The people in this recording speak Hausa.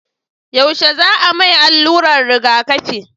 yaushe za a mai alluran rigaƙafi?